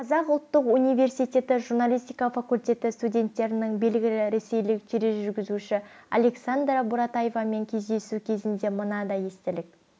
қазақ ұлттық университеті журналистика факультеті студенттерінің белгілі ресейлік тележүргізуші александра буратаевамен кездесу кезінде мынадай естелік